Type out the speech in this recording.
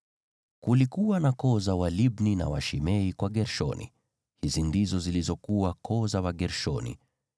Kulikuwa na koo za Walibni na Washimei kwa Gershoni; hizi ndizo zilizokuwa koo za Wagershoni.